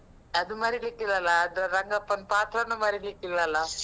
ಅದು ಮರೀಲಿಕ್ಕಿಲ್ಲಲ್ಲ? ಅದು ರಂಗಪ್ಪನ್ ಪಾತ್ರಾನೂ ಮರೀಲಿಕ್ಕಿಲ್ಲಲ್ಲ?